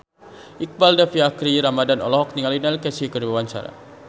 Iqbaal Dhiafakhri Ramadhan olohok ningali Neil Casey keur diwawancara